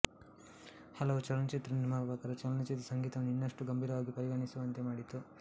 ಹಲವು ಚಲನಚಿತ್ರ ನಿರ್ಮಾಪಕರು ಚಲನಚಿತ್ರ ಸಂಗೀತವನ್ನು ಇನ್ನಷ್ಟು ಗಂಭೀರವಾಗಿ ಪರಿಗಣಿಸುವಂತೆ ಮಾಡಿತು